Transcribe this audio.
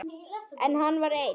En hann var einn.